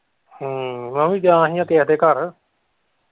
ਹਮ ਮੈਂ ਵੀ ਗਿਆ ਹੀ ਕਿਸੇ ਦੇ ਘਰ।